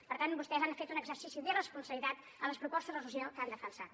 per tant vostès han fet un exercici d’irresponsabilitat en les propostes de resolució que han defensat